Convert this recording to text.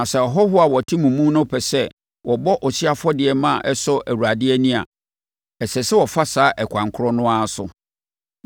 Na sɛ ahɔhoɔ a wɔte mo mu no pɛ sɛ wɔbɔ ɔhyeɛ afɔdeɛ ma ɛsɔ Awurade ani a, ɛsɛ sɛ wɔfa saa ɛkwan korɔ no ara so.